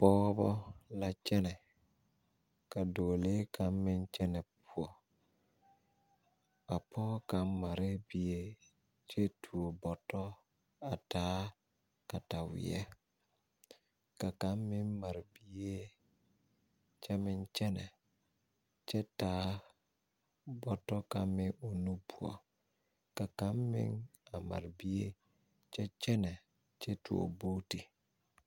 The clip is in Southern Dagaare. Pɔgba la kyene ka doɔlee kanga meng kyene pou a poɔ kanga mare bie kye tuo boto a taa katawei ka kang meng mari bie kye meng kyene kye taa boto kang meng ɔ nu pou ka kanga meng mari bie kye kyene kye tuo bootu.